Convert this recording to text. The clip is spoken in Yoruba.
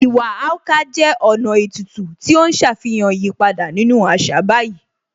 Iwa Akwa jẹ́ ọ̀nà ètùtù tí ó ń ṣàfihàn ìyípadà nínú àṣà báyìí